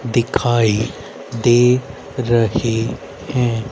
दिखाई दे रही हैं।